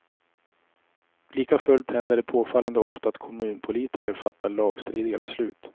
Likafullt händer det påfallande ofta att kommunpolitiker fattar lagstridiga beslut.